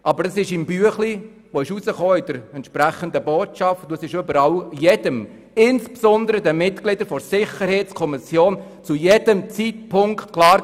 Doch aus der Abstimmungsbotschaft ging klar hervor, dass man nicht 105 Mio. Franken sparen kann, und das war auch jedem, insbesondere den Mitgliedern der Sicherheitskommission, jederzeit klar.